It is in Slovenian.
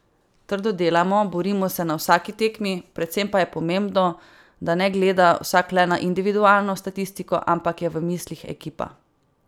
Trdo delamo, borimo se na vsaki tekmi, predvsem pa je pomembno, da ne gleda vsak le na individualno statistiko, ampak je v mislih ekipa.